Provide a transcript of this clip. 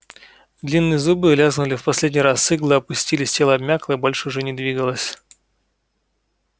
длинные зубы лязгнули в последний раз иглы опустились тело обмякло и больше уже не двигалось